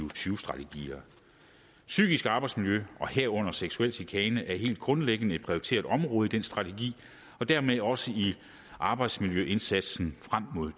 og tyve strategier psykisk arbejdsmiljø herunder seksuel chikane er helt grundlæggende et prioriteret område i de strategier og dermed også i arbejdsmiljøindsatsen frem mod